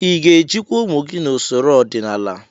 Ị ga-ejikwa ụmụ gị n'usoro ọdịnala?